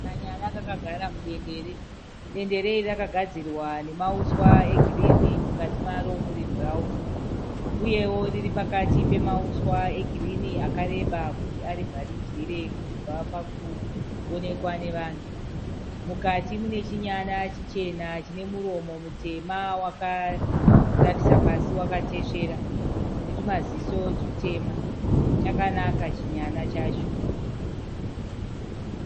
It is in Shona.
Kanyana kakagara mudendere, dendere iri rakagadzirwa nemauswa egirini mukati maro muri bhurawuni uyewo riri pakati pemauswa egirini akareba kuti arivharidzire kubva pakuonekwa nevanhu mukati mune chinyana chichena chine muromo mutema wakatarisa pasi wakatesvera netumaziso tutema chakanaka chinyana chacho.